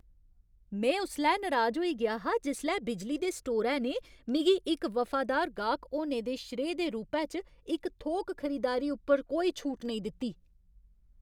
में उसलै नराज होई गेआ हा जिसलै बिजली दे स्टोरै ने मिगी इक वफादार गाह्क होने दे श्रेऽ दे रूपै च थोक खरीदारी उप्पर कोई छूट नेईं दित्ती।